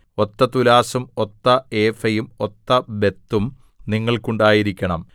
ഒത്ത തുലാസ്സും ഒത്ത ഏഫയും ഒത്ത ബത്തും നിങ്ങൾക്കുണ്ടായിരിക്കണം